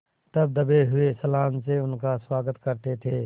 तब दबे हुए सलाम से उसका स्वागत करते थे